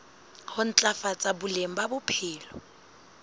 ho ntlafatsa boleng ba bophelo